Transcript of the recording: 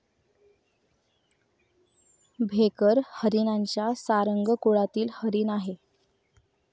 भेकर हरिणांच्या सारंग कुळातील हरिण आहे.